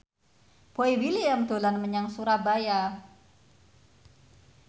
Boy William dolan menyang Surabaya